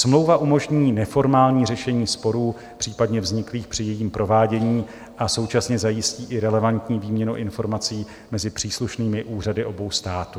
Smlouva umožní neformální řešení sporů případně vzniklých při jejím provádění a současně zajistí i relevantní výměnu informací mezi příslušnými úřady obou států.